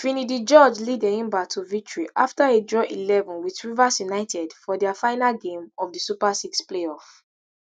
finidi george lead enyimba to victory afta e draw eleven wit rivers united for dia final game of di super six playoff